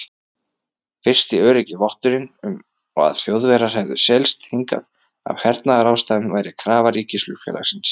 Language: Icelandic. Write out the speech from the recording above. Fyrsti öruggi votturinn um, að Þjóðverjar hefðu seilst hingað af hernaðarástæðum, væri krafa ríkisflugfélagsins